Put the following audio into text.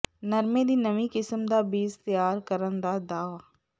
ਨਰਮੇ ਦੀ ਨਵੀਂ ਕਿਸਮ ਦਾ ਬੀਜ ਤਿਆਰ ਕਰਨ ਦਾ ਦਾਅਵਾ